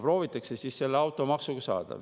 Proovitakse siis automaksuga seda saada.